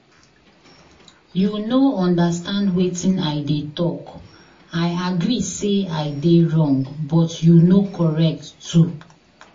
You no understand wetin I dey talk. I agree say I dey wrong but you no correct too